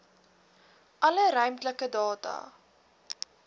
alle ruimtelike data